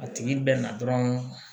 A tigi bɛ na dɔrɔn